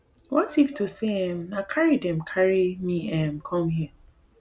what if to say um na carry dem carry me um come here now